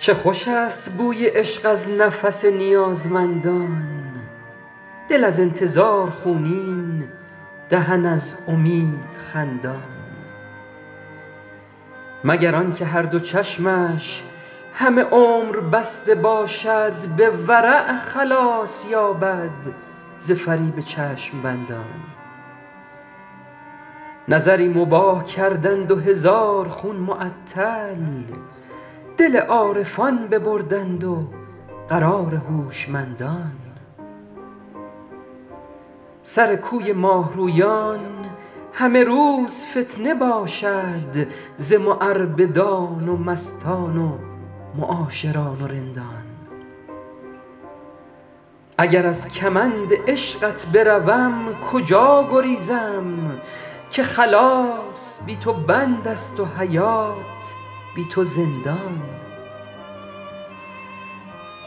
چه خوش است بوی عشق از نفس نیازمندان دل از انتظار خونین دهن از امید خندان مگر آن که هر دو چشمش همه عمر بسته باشد به ورع خلاص یابد ز فریب چشم بندان نظری مباح کردند و هزار خون معطل دل عارفان ببردند و قرار هوشمندان سر کوی ماه رویان همه روز فتنه باشد ز معربدان و مستان و معاشران و رندان اگر از کمند عشقت بروم کجا گریزم که خلاص بی تو بند است و حیات بی تو زندان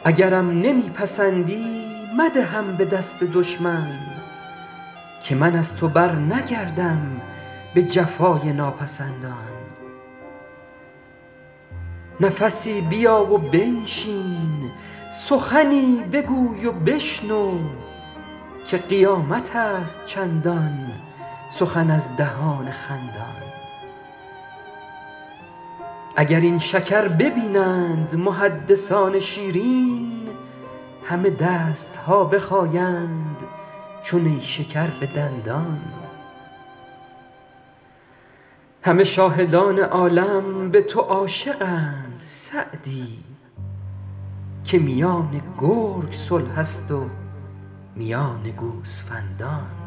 اگرم نمی پسندی مدهم به دست دشمن که من از تو برنگردم به جفای ناپسندان نفسی بیا و بنشین سخنی بگوی و بشنو که قیامت است چندان سخن از دهان خندان اگر این شکر ببینند محدثان شیرین همه دست ها بخایند چو نیشکر به دندان همه شاهدان عالم به تو عاشقند سعدی که میان گرگ صلح است و میان گوسفندان